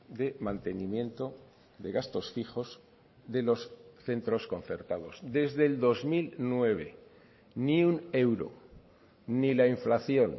de mantenimiento de gastos fijos de los centros concertados desde el dos mil nueve ni un euro ni la inflación